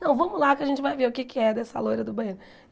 Não, vamos lá que a gente vai ver o que é que é dessa loira do banheiro.